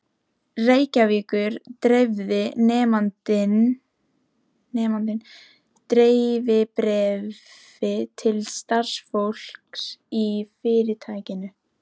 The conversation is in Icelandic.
Reykjavíkur, dreifði nemandinn dreifibréfi til starfsfólks í fyrirtækinu.